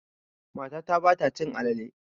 Matata ba ta cin alale.